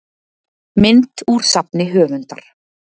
Mynd úr safni höfundar.